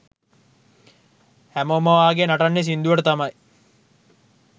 හැමෝම වාගේ නටන්නේ සිංදුවට තමයි.